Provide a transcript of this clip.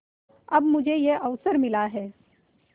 अब मुझे यह अवसर मिला है